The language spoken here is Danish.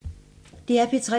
DR P3